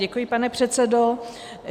Děkuji, pane předsedo.